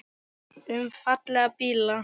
Um fallega bíla.